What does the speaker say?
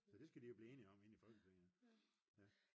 så det skal de jo blive enige om inde i Folketinget